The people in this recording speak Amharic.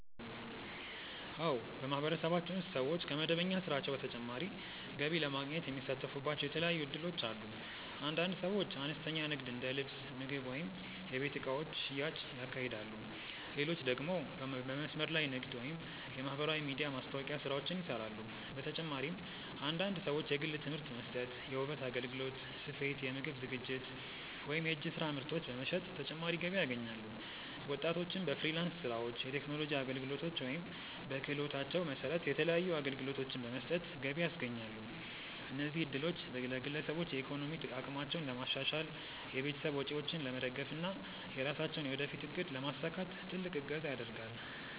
አዎ፣ በማህበረሰባችን ውስጥ ሰዎች ከመደበኛ ስራቸው በተጨማሪ ገቢ ለማግኘት የሚሳተፉባቸው የተለያዩ እድሎች አሉ። አንዳንድ ሰዎች አነስተኛ ንግድ እንደ ልብስ፣ ምግብ ወይም የቤት እቃዎች ሽያጭ ያካሂዳሉ፣ ሌሎች ደግሞ በመስመር ላይ ንግድ ወይም የማህበራዊ ሚዲያ ማስታወቂያ ስራዎችን ይሰራሉ። በተጨማሪም አንዳንድ ሰዎች የግል ትምህርት መስጠት፣ የውበት አገልግሎት፣ ስፌት፣ የምግብ ዝግጅት ወይም የእጅ ስራ ምርቶች በመሸጥ ተጨማሪ ገቢ ያገኛሉ። ወጣቶችም በፍሪላንስ ስራዎች፣ የቴክኖሎጂ አገልግሎቶች ወይም በክህሎታቸው መሰረት የተለያዩ አገልግሎቶችን በመስጠት ገቢ ያስገኛሉ። እነዚህ እድሎች ለግለሰቦች የኢኮኖሚ አቅማቸውን ለማሻሻል፣ የቤተሰብ ወጪዎችን ለመደገፍ እና የራሳቸውን የወደፊት እቅድ ለማሳካት ትልቅ እገዛ ያደርጋል።